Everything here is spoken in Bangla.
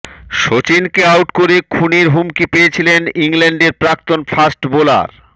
সচিনকে আউট করে খুনের হুমকি পেয়েছিলেন ইংল্যান্ডের প্রাক্তন ফাস্ট বোলার